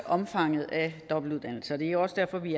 omfanget af dobbeltuddannelser det er jo også derfor vi